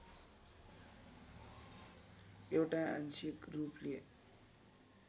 एउटा आंशिक रूपले